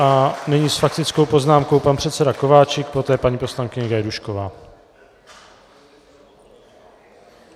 A nyní s faktickou poznámkou pan předseda Kováčik, poté paní poslankyně Gajdůšková.